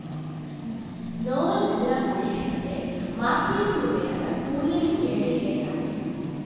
novel‍ രചനാ പരീക്ഷണത്തെ മാര്‍ക്വേസിലൂടെയാണ് കൂടുതലും കേരളീയന്‍ അറിഞ്ഞത്